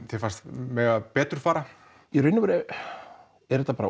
þér fannst mega betur fara í raun og veru var þetta